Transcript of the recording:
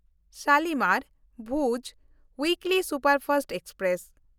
ᱥᱟᱞᱤᱢᱟᱨ-ᱵᱷᱩᱡᱽ weekly superfast express